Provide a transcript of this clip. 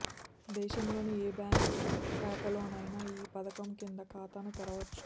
దేశంలోని ఏ బ్యాంకు శాఖలోనైనా ఈ పథకం కింద ఖాతాను తెరవచ్చు